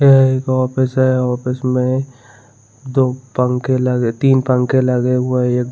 यह एक ऑफिस है ऑफिस में दो पंखे लगे तीन पंखे लगे हुए एक--